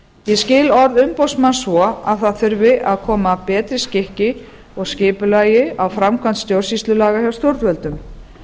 ég skil orð umboðsmanns svo að það þurfi að koma betri skikki og skipulagi á framkvæmd stjórnsýslulaga hjá stjórnvöldum